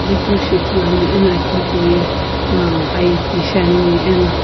aghi keu shi ithulu ane ana aki hipou ye ie ki shiane ana.